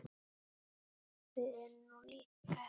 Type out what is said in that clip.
Við erum nú líkar!